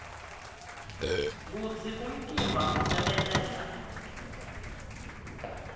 kutsi umtimba usebenta njani